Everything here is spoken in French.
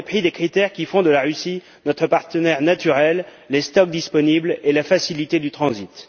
au mépris des critères qui font de la Russie notre partenaire naturel, à savoir les stocks disponibles et la facilité du transit.